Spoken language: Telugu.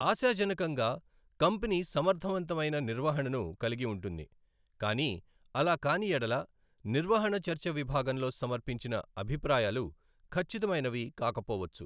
ఆశాజనకంగా, కంపెనీ సమర్థవంతమైన నిర్వహణను కలిగి ఉంటుంది, కానీ అలా కాని యెడల, నిర్వహణ చర్చ విభాగంలో సమర్పించిన అభిప్రాయాలు ఖచ్చితమైనవి కాకపోవచ్చు.